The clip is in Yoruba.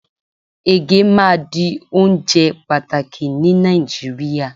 ege ma di onjẹ pàtàkì ni Naijiria